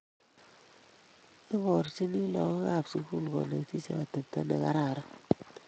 Iborchini lagook kab sugul konetisheek atepto negararan